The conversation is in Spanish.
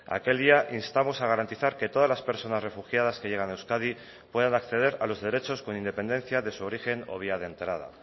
aquel día instamos a garantizar que todas las personas refugiadas que llegan a euskadi puedan acceder a los derechos con independencia de su origen o vía de entrada